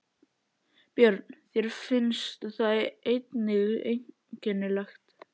Björn: Þér finnst það einnig einkennilegt?